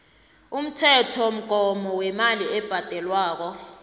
umthethomgomo wemali ebhadelwako